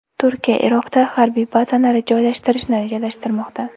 Turkiya Iroqda harbiy bazasini joylashtirishni rejalashtirmoqda .